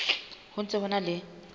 ho ntse ho na le